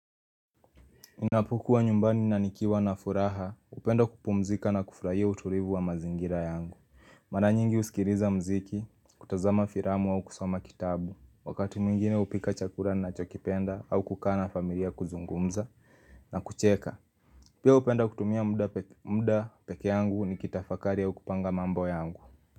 Ninapokua nyumbani na nikiwa na furaha, hupenda kupumzika na kufurahia utulivu wa mazingira yangu. Mara nyingi husikiliza muziki, kutazama filamu au kusoma kitabu. Wakati mwingine hupika chakula nachokipenda au kukaa na familia kuzungumza na kucheka. Pia hupenda kutumia muda peke yangu nikitafakari au kupanga mambo yangu.